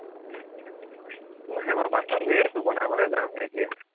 নাই মই বাচন ধুই আছো বনাবলে যামহে এতিয়া